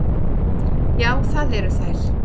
Já, það eru þær.